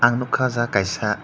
ang nugkha ahh jaaga kaisa.